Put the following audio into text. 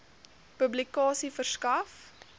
publikasie verskaf